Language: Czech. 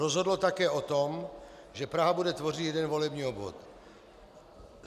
Rozhodlo také o tom, že Praha bude tvořit jeden volební obvod.